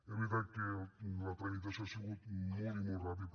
és veritat que la tramitació ha sigut molt i molt ràpida